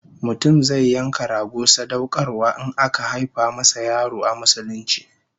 Mutum zai yanka rago sadaukarwa in aka haifa masa yaro a Musulunci